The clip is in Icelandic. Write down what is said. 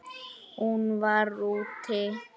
Hún var: úti.